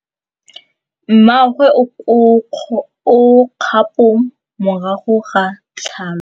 Mmagwe o kgapô morago ga tlhalô.